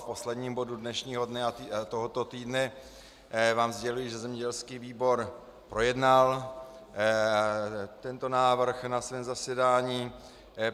V posledním bodu dnešního dne a tohoto týdne vám sděluji, že zemědělský výbor projednal tento návrh na svém zasedání.